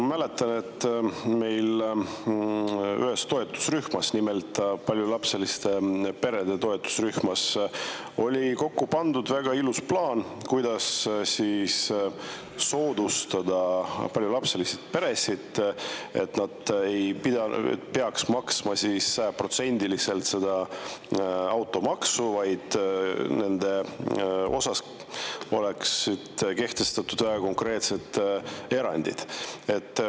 Ma mäletan, et meil ühes toetusrühmas, nimelt paljulapseliste perede toetusrühmas, oli kokku pandud väga ilus plaan, kuidas soodustada paljulapselisi peresid, et nad ei peaks sajaprotsendiliselt automaksu maksma, vaid nendele oleks kehtestatud konkreetsed erandid.